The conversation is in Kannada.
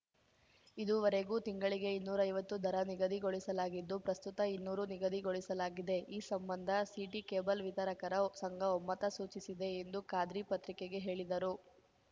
ಇದುವರೆಗೂ ತಿಂಗಳಿಗೆ ಇನ್ನೂರೈವತ್ತು ದರ ನಿಗದಿಗೊಳಿಸಲಾಗಿದ್ದು ಪ್ರಸ್ತುತ ಇನ್ನೂರು ನಿಗದಿಗೊಳಿಸಲಾಗಿದೆ ಈ ಸಂಬಂಧ ಸಿಟಿ ಕೇಬಲ್‌ ವಿತರಕರ ಸಂಘ ಒಮ್ಮತ ಸೂಚಿಸಿದೆ ಎಂದು ಖಾದ್ರಿ ಪತ್ರಿಕೆಗೆ ಹೇಳಿದರು